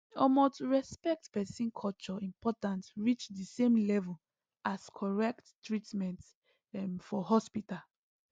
omo to respect person culture important reach di same level as correct treatment um for hospital